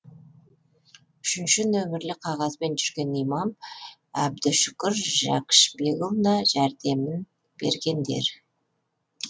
үшінші нөмірлі қағазбен жүрген имам әбдүшүкір жәшікбекұлына жәрдемін бергендер